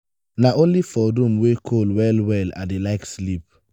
na only for room wey cool well-well i dey like sleep.